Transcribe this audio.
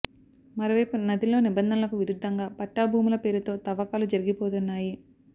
మరోవైపు నదిలో నిబంధనలకు విరుద్ధంగా పట్టా భూముల పేరుతో తవ్వకాలు జరిగిపోతున్నాయి